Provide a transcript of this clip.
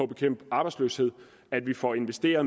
bekæmpe arbejdsløsheden og at vi får investeret